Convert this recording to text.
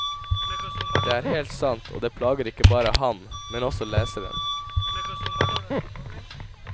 Det er helt sant, og det plager ikke bare ham, men også leseren.